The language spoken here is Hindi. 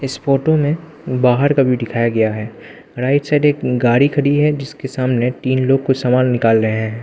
इस फोटो में बाहर का भी दिखाया गया है राइट साइड एक गाड़ी खड़ी है जिसके सामने तीन लोग कुछ सामान निकल रहे हैं।